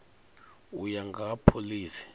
u ya nga ha phoḽisi